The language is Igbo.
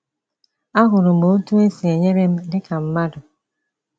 Ahụrụ m otú o si enyere m dịka mmadụ.